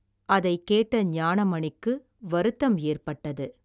அதைக் கேட்ட ஞானமணிக்கு வருத்தம் ஏற்பட்டது.